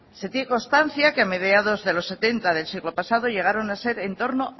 se tiene constancia que a mediados de los setenta del siglo pasado llegaron a ser en torno